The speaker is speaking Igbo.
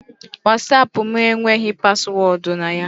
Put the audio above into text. WhatsApp m enweghị paswọọdụ na ya.